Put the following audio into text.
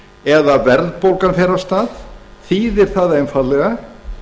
eða að verðbólgan fer af stað þýðir það einfaldlega